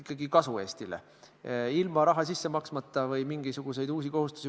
Kui nii kergesti on võimalik õõva tekitada, siis ma peaksin tihedamini siin puldis käima.